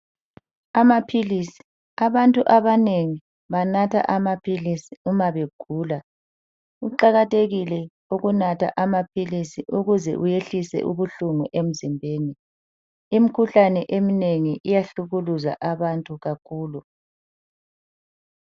Amaphilisi, abantu abanengi banatha amaphilisi uma begula. Kuqakathekile ukunatha amaphilisi ukuze uyehlise ubuhlungu emzimbeni. Imkhuhlane eminengi iyahlukuluza abantu kakhulu.